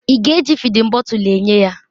Ị ga-eji fịdin bọtul enye ya?